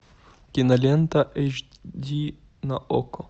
кинолента эйч ди на окко